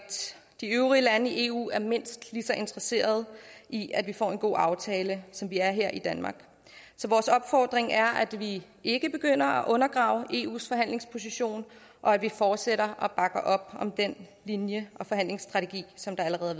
de øvrige lande i eu er mindst lige så interesserede i at vi får en god aftale som vi er her i danmark så vores opfordring er at vi ikke begynder at undergrave eus forhandlingsposition og at vi fortsætter og bakker op om den linje og forhandlingsstrategi som allerede